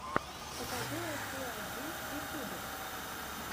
покажи россию один в ютьюбе